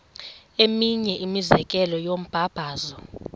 eminye imizekelo yombabazo